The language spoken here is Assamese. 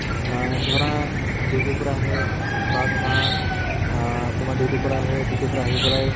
আহ ধৰা duty ৰ পৰা আহে বা ধৰা আহ তোমাৰ duty ৰ পৰা আহে, duty ৰ পৰা আহি পেলাই